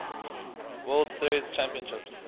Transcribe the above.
world series championships